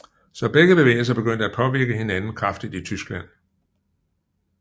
Så begge bevægelser begyndte at påvirke hinanden kraftigt i Tyskland